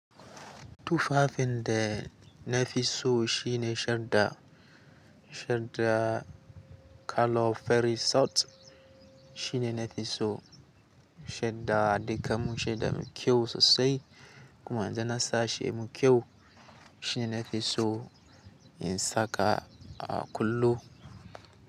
Tufafin da na fi so shine shadda. Shadda color fari sat shine na fi so. Shadda duka mun shadda me kyau sosai kuma idan nasa shi me kyau shine na fi so in saka a kullum.